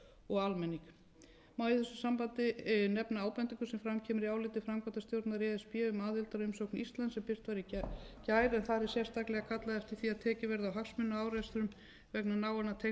og almenning má í þessu sambandi nefna ábendingu sem fram kemur í áliti framkvæmdastjórnar e s b um aðildarumsókn íslands sem birt var í gær en þar er sérstaklega kallað eftir því að tekið verði á hagsmunaárekstrum vegna náinna tengsla